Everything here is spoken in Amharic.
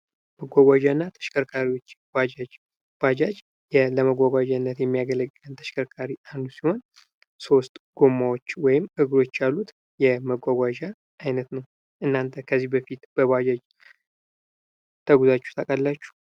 መጓጓዣዎችና ተሽከርካሪዎች ባጃጅ ባጃጅ ለመጓጓዣነት የሚያገለግል የተሽከርካሪ አይነት ሲሆን ሶስት ጎማዎች ወይም እግሮች ያሉት የመጓጓዣ አይነት ነው። እናተ ከዚህ በፊት በባጃጅ ተጉዛችሁ ታውቃላችሁ።